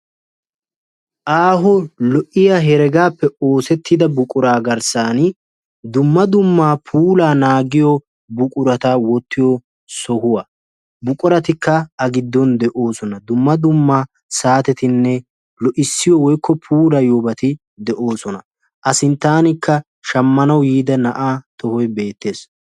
Aaho lo'iyaa heregaape oosetida buquraa garssani dumma dumma puulaa naagiyo buqurata wottiyo sohuwa. Buquraatikka a giddon de'osona. Dumma dumma saatetine lo'issiyo woykko puulaayiyobati de'osona. A sinttanikka shammanawu yidaa naa'a tohoy beettes.